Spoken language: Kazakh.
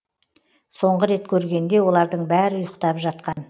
соңғы рет көргенде олардың бәрі ұйықтап жатқан